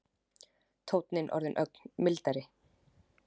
Tónninn orðinn ögn mildari.